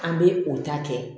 An bɛ o ta kɛ